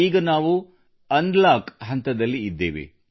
ಈಗ ನಾವು ಅನ್ಲಾಕ್ ಹಂತದಲ್ಲಿ ಇದ್ದೇವೆ